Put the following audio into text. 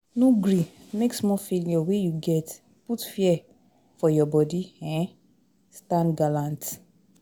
No gree make small failure wey you get put fear for your body um, stand gallant